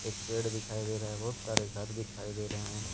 एक पेड़ दिखाई दे रहा है बहुत सारे घर दिखाई दे रहे हैं।